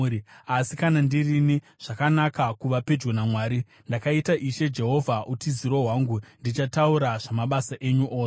Asi kana ndirini, zvakanaka kuva pedyo naMwari. Ndakaita Ishe Jehovha utiziro hwangu; ndichataura zvamabasa enyu ose.